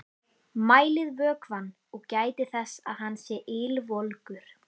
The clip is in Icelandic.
Mælið vökvann og gætið þess að hann sé ylvolgur.